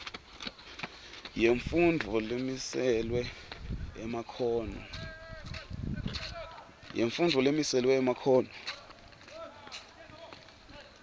yemfundvo lemiselwe emakhono